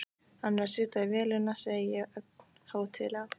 Hann er að setja í vélina, segi ég ögn hátíðlega.